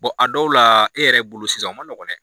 a dɔw la e yɛrɛ bolo sisan u ma nɔgɔn dɛ.